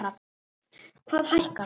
Hvað hækkar?